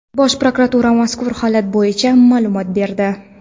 Bosh prokuratura mazkur holat bo‘yicha ma’lumot berdi .